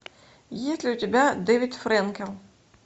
есть ли у тебя дэвид фрэнкел